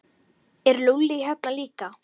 Er Lúlli hérna líka?